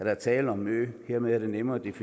er tale om en ø hermed er det nemmere ved